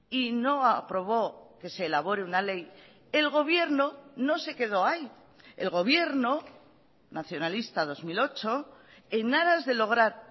y no aprobó que se elabore una ley el gobierno no se quedó ahí el gobierno nacionalista dos mil ocho en aras de lograr